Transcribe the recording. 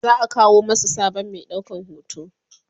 za'a kawo masu sabon Mai ɗaukan hoto